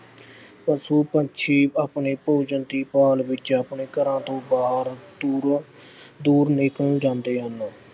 ਪਸ਼ੂ-ਪੰਛੀ ਆਪਣੇ ਭੋਜਨ ਦੀ ਭਾਲ ਵਿੱਚ ਆਪਣੇ ਘਰਾਂ ਤੋਂ ਬਾਹਰ ਦੂਰੋਂ-ਦੂਰ ਨਿਕਲ ਜਾਂਦੇ ਹਨ।